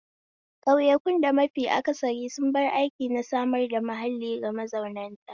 Ƙauyakun da mafi aksari sun bar aiki na samar da mahalli ga mazautan ta